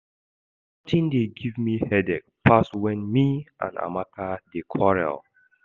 Nothing dey give me headache pass when me and Amaka dey quarrel